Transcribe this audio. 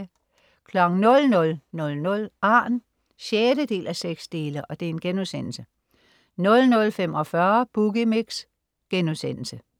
00.00 Arn 6:6* 00.45 Boogie Mix*